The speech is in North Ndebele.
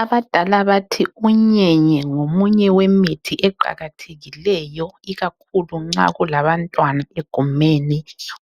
Abadala bathi unyenye ngomunye wemithi eqalathekileyo ikakhulu nxa kulabantwana egumeni.